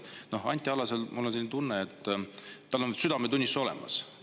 Noh, Anti Allasel, mul on selline tunne, on südametunnistus olemas.